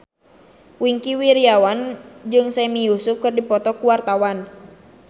Wingky Wiryawan jeung Sami Yusuf keur dipoto ku wartawan